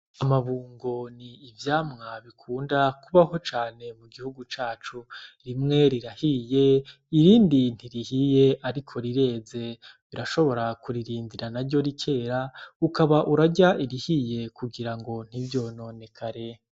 Amabungo ni ivyamwa bikunda kubaho cane mu gihugu cacu. Rimwe rirahiye irindi ntirihiye ariko rireze, urashobora kuririndira naryo rikera ukaba urarya irihiye kugirango ntiryononekare.